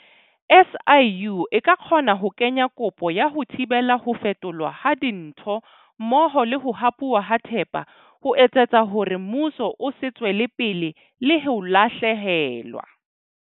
SIU e ka kgona ho kenya kopo ya ho thibela ho fetolwa ha dintho mmoho le ho hapuwa ha thepa ho etsetsa hore mmuso o se tswele pele le ho lahlehelwa.